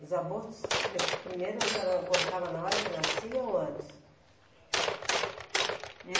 Os abortos, de, primeiro a senhora abortava na hora que nascia ou antes? E